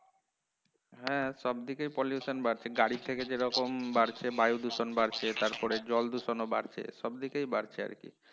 হ্যাঁ সব দিকেই pollution বাড়ছে গাড়ি থেকে যেরকম বাড়ছে বায়ু দূষণ বাড়ছে তারপরে জল দূষণও বাড়ছে সব দিকে বাড়ছে আরকি